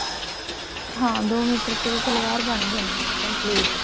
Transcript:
ਹਾਂ ਦੋ ਮੀਟਰ ਚ ਵੀ ਸਲਵਾਰ ਬਣ ਜਾਂਦੀ ਹੈ complete